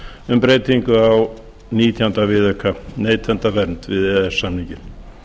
um breytingu á nítján viðauka neytendavernd við e e s samninginn